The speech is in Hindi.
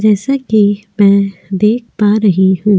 जैसा कि मैं देख पा रही हूं ।